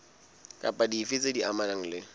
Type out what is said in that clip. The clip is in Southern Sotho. kapa dife tse amanang le